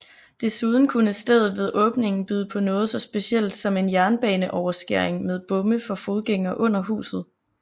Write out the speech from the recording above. Desuden kunne stedet ved åbningen byde på noget så specielt som en jernbaneoverskæring med bomme for fodgængere under huset